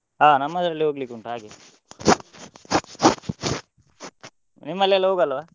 ಹ ನಮ್ಮದ್ರಲ್ಲಿ ಹೋಗ್ಲಿಕ್ಕೆ ಉಂಟು ಹಾಗೆ. ನಿಮ್ಮಲ್ಲಿ ಎಲ್ಲ ಹೋಗಲ್ವ?